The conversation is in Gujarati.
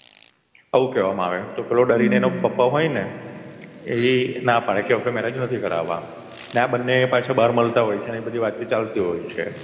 એવું કેવામાં આવે તો પેલો ડરીને એનો પપ્પા હોય ને એ ના પાડે કે આપડે marriage નથી કરાવવા. અને આ બંને પાછા બાર મલતા હોય છે ને એવીબધી વાતચીત ચાલતી હોય છે એટલે એમનો boy friend